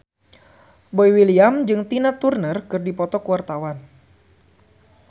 Boy William jeung Tina Turner keur dipoto ku wartawan